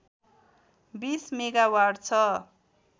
२० megawatt छ